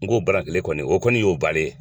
N k'o bana kelen kɔni o kɔni y'o bannen ye.